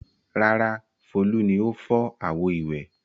Rárá, Folú ni ó fọ́ àwo-ìwẹ̀.